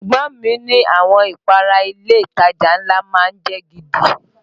Ẹ̀gbọ́n mi ni àwọn ìpara ilé ìtajà ńlá má ń jẹ́ gidi